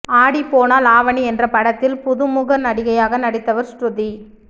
ஆடி போனால் ஆவணி என்ற படத்தில் புதுமுக நடிகையாக நடித்தவர் ஸ்ருதி